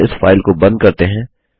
अब हम इस फाइल को बंद करते हैं